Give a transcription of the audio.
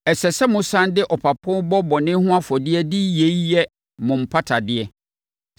Ɛsɛ sɛ mosane de ɔpapo bɔ bɔne ho afɔdeɛ de yei yɛ mo mpatadeɛ.